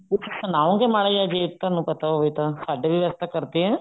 ਕੁੱਝ ਸੁਣਾਓਗੇ ਮਾੜਾ ਜਿਹਾ ਜੇ ਤੁਹਾਨੂੰ ਪਤਾ ਹੋਵੇ ਤਾਂ ਸਾਡੇ ਵੀ ਵੈਸੇ ਕਰਦੇ ਆ